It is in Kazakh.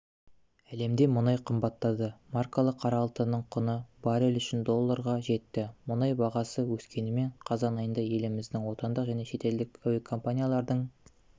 әлемде мұнай қымбаттады маркалы қара алтынның құны баррелі үшін долларға жетті мұнай бағасы өскенімен қазан айында елімізде отандық және шетелдік әуекомпаниялардың